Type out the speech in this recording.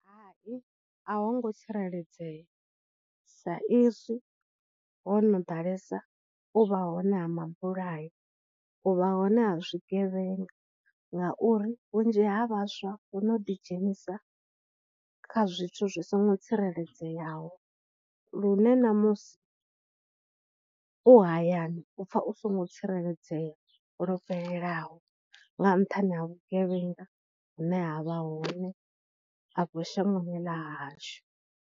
Hai, a ho ngo tsireledzea sa izwi ho no ḓalesa u vha hone ha mabulayo, u vha hone ha zwigevhenga, ngauri vhunzhi ha vhaswa vho no ḓi dzhenisa kha zwithu zwi songo tsireledzeaho, lune na musi u hayani u pfha u songo tsireledzea lwo fhelelaho nga nṱhani ha vhugevhenga hune havha hone afho shangoni ḽa hashu.